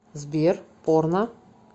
сбер порно